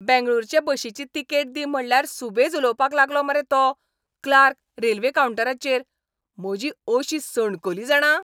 बेंगळूरचे बशीची तिकेट दी म्हटल्यार सुबेज उलोवपाक लागलो मरे तो क्लार्क रेल्वे कावंटाराचेर. म्हजी अशी सणकली जाणा.